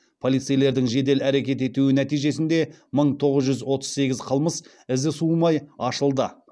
полицейлердің жедел әрекет етуі нәтижесінде мың тоғыз жүз отыз сегіз қылмыс ізі суымай ашылды